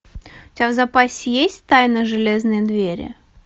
у тебя в запасе есть тайна железной двери